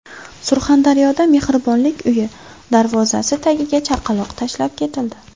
Surxondaryoda mehribonlik uyi darvozasi tagiga chaqaloq tashlab ketildi.